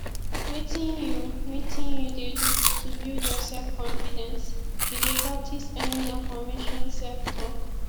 wetin you wetin you dey do to build your selfconfidence you dey practice any affirmation selftalk